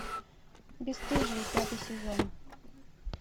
бесстыжие пятый сезон